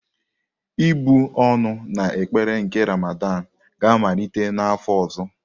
Ịbụ́ ọnụ na ekpere nke Ramadan ga-amalite n'afọ ọzọ.